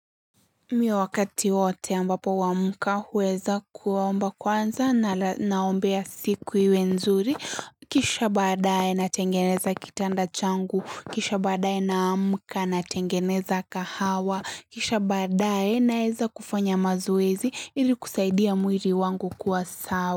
Mi wakati wote ambapo huu amuka huweza kuwaomba kwanza na naombea siku iwe nzuri. Kisha badae natengeneza kitanda changu. Kisha badae naamuka natengeneza kahawa. Kisha badae naeza kufanya mazoezi ili kusaidia muiri wangu kuwa sawa.